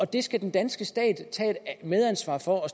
det skal den danske stat tage et medansvar for og